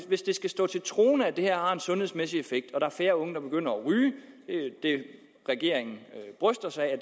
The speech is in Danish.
hvis det skal stå til troende at det her en sundhedsmæssig effekt og er færre unge der begynder at ryge det regeringen bryster sig af at